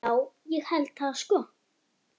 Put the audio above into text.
Já, ég held það sko.